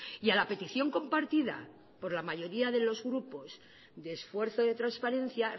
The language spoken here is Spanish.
y a la petición compartida por la mayoría de los grupos de esfuerzo de transparencia